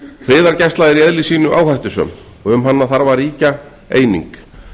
friðargæsla er í eðli sínu áhættusöm og um hana þarf að ríkja eining